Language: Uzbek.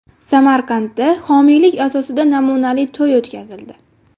Samarqandda homiylik asosida namunali to‘y o‘tkazildi.